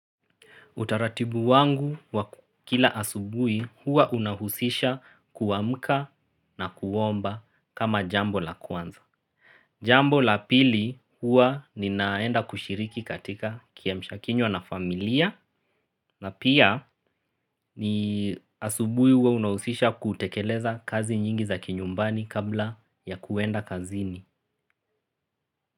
Utaratibu wangu wa kila asubui huwa unahusisha kuwamka na kuwomba kama jambo la kwanza. Jambo la pili huwa ninaenda kushiriki katika kiamsha kinywa na familiya na pia ni asubui huwa unahusisha kutekeleza kazi nyingi za kinyumbani kabla ya kuwenda kazini.